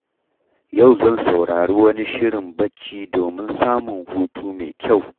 Yau zan saurari wani shirin bacci domin samun hutu mai kyau.